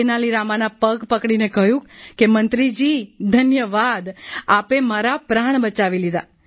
તેનાલી રામાના પગ પકડીને કહ્યું કે મંત્રી જીધન્યવાદ આપે મારા પ્રાણ બચાવી લીધા